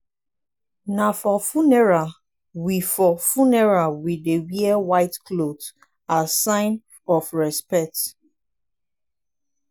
na for funeral we for funeral we dey wear white cloth as sign of respect.